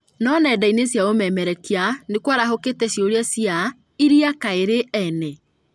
No nenda-inĩ cia ũmemerekia nĩkwarahũkĩte cĩũria cia "irĩa kaĩ rĩrĩ ene?"